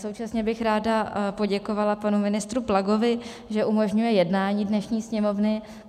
Současně bych ráda poděkovala panu ministru Plagovi, že umožňuje jednání dnešní Sněmovny.